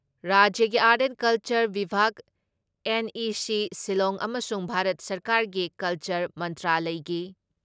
ꯔꯥꯖ꯭ꯌꯒꯤ art and culture ꯚꯤꯕꯥꯒ, NEC Shillong ꯑꯃꯁꯨꯡ ꯚꯥꯔꯠ ꯁꯔꯀꯥꯔꯒꯤ ꯀꯜꯆꯔ ꯃꯟꯇ꯭ꯔꯥꯂꯌꯒꯤ